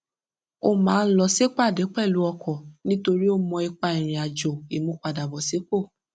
ó máa ń lọ sípàdé pẹlú ọkọ nítorí ó mọ ipa ìrìn àjò ìmúpadàbọsípò